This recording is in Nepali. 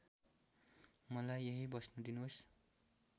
मलाई यहींँ बस्न दिनोस्